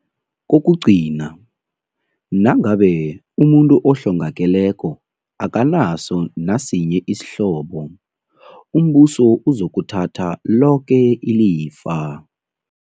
Kokugcina, nangabe umuntu ohlongakeleko akanaso nasinye isihlobo, umBuso uzokuthatha loke ilifa.